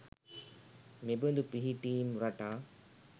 මෙබඳු පිහිටීම් රටා